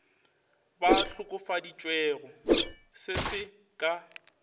ba hlokofaditšwego se se ka